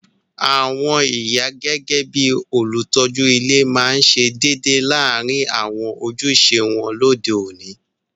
Àwon ìyá gẹgẹ bi olùtójú ile ma se dédé láàrin àwon ojúse won lóde oni